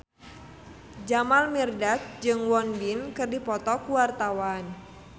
Jamal Mirdad jeung Won Bin keur dipoto ku wartawan